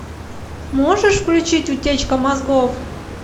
можешь включить утечка мозгов